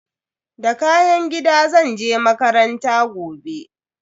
Da kayan gida zan je makaranta gobe.